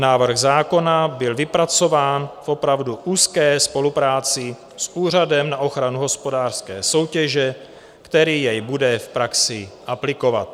Návrh zákona byl vypracován v opravdu úzké spolupráci s Úřadem na ochranu hospodářské soutěže, který jej bude v praxi aplikovat.